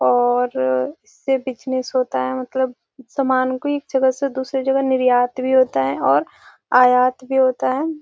और इससे बिजनेस होता है मतलब समान को एक जगह से दूसरी जगह निर्यात भी होता है और आयात भी होता है।